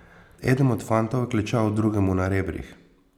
Eden od fantov je klečal drugemu na rebrih.